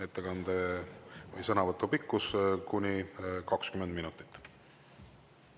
Ettekande või sõnavõtu pikkus on kuni 20 minutit.